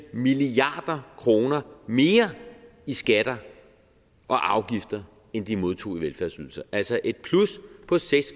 milliard kroner mere i skatter og afgifter end de modtog i velfærdsydelser altså et plus på seks